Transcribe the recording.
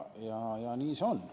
Jah, nii see on.